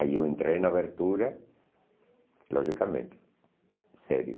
Aí eu entrei na abertura, logicamente, sério.